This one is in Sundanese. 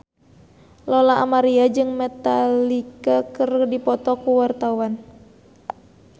Lola Amaria jeung Metallica keur dipoto ku wartawan